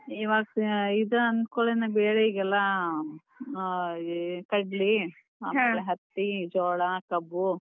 ಇವಾಗ್ ಇದ್ ಅಂದ್ ಕುಳೆನ ಬೆಳೆ ಈಗೆಲ್ಲ ಆ ಕಡ್ಲಿ, ಹತ್ತಿ, ಜೋಳ, ಕಬ್ಬು.